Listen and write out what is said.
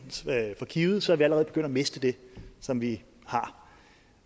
for givet så er vi allerede begyndt at miste det som vi har